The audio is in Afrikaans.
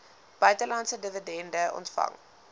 buitelandse dividende ontvang